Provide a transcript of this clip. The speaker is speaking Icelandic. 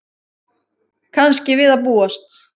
Kannski við að búast.